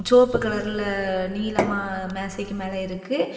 செவுப்பு கலர்லா நீலமா மேஜைக்கு மேல இருக்கு.